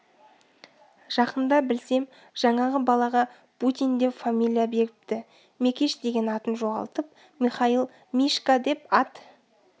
жақында білсем жаңағы балаға бутин деп фамилия беріпті мекеш деген атын жоғалтып михаил мишка деп ат